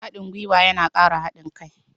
Haɗin guiwa yana ƙara haɗin kai.